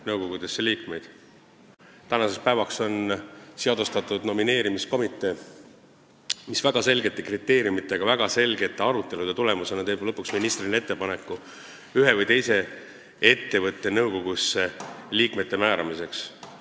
Nüüdseks on loodud nomineerimiskomitee, mis lähtudes väga selgetest kriteeriumidest ja väga põhjalike arutelude tulemusena teeb ministrile ettepaneku ühe või teise ettevõtte nõukogusse liikmete määramiseks.